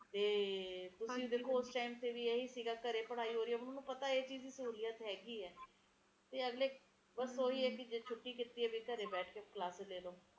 ਦਫਤਰ ਵਾਲਿਆਂ ਨੂੰ ਨਹੀਂ ਆਪਾ ਕਹਿ ਸਕਦੇ ਬੱਚਿਆਂ ਨੂੰ ਛੁੱਟੀਆਂ ਕਰਕੇ ਜ਼ਆਦਾਤਰ ਲੋਕ ਹੀ ਜਾਂਦੇ ਆ ਘੁੰਮਣ ਫਿਰਨ ਪਰ ਮੈਨੂੰ ਤਾ ਸਚੀ ਬੋਲੋ ਤਾ ਇਹ ਜਾ ਮੌਸਮ ਪੰਸਦ ਹੀ ਨਹੀਂ ਹੈ ਸਰਦੀਆਂ ਮੈਨੂੰ ਜਵਾ ਨਹੀਂ ਪਸੰਦ ਨਹੀਂ ਹੈ ਮੈਨੂੰ ਤਾ ਅਏ ਹੁੰਦਾ ਹੈ ਨਾ ਮੌਸਮ ਹੋਵੇ ਜਿਵੇ